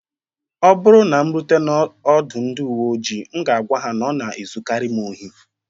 Ọ bụrụ na m rutere n'ọdụ ndị uwe ojii, m ga-agwa ha na ọ na-ezukarị m ohi